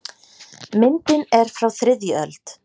Myndin er frá þriðju öld.